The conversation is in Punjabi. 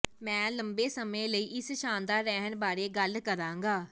ਮੈਂ ਲੰਬੇ ਸਮੇਂ ਲਈ ਇਸ ਸ਼ਾਨਦਾਰ ਰਹਿਣ ਬਾਰੇ ਗੱਲ ਕਰਾਂਗਾ